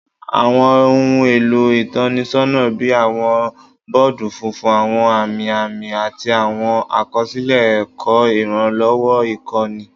Awọn ohun elo itọnisọna bii awọn bọọdu funfun, awọn ami ami, ati awọn akọsilẹ ẹkọ iranlọwọ ikọni